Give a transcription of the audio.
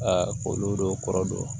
olu dɔw kɔrɔ don